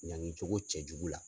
Ɲangi cogo cɛ jugu la.